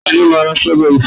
ta ni o ma ra strawberry fún mi